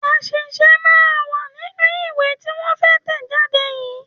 Àṣìṣe máa wà nínú ìwé tí wọ́n fẹ́ tẹ̀ jáde yìí.